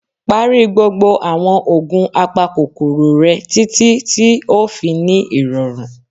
Pari gbogbo awọn oogun apakokoro rẹ, titi ti o fi ni irọrun.